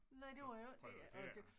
Nej det var jo ikke og det